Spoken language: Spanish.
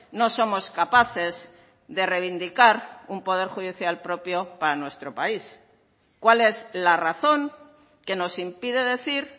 no somos capaces de reivindicar un poder judicial propio para nuestro país cuál es la razón que nos impide decir